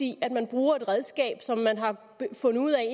i at man bruger et redskab som man har fundet ud af